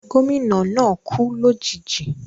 Gómìnà náà kú lòjijì